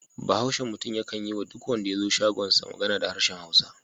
Bahaushen mutum yakan yi wa duk wanda ya zo shagonsa magana da harshen Hausa.